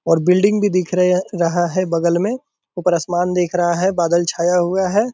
और बिल्डिंग भी दिख रहिया रहा है बगल में ऊपर असमान दिख रहा है बादल छाया हुआ है।